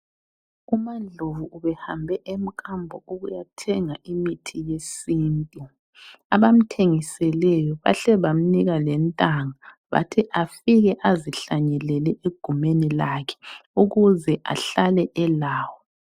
UMaNdlovu ubehambe emkambo ukuyathenga imithi yesintu, abamthengiseleyo bahle bamnika lentanga bathi afike azihlanyelele egumeni lakhe ukuze ehlale elawo.